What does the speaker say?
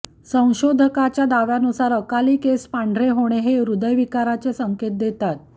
संशोधकाच्या दाव्यानुसार अकाली केस पांढरे होणे हे हृद्यविकाराचे संकेत देतात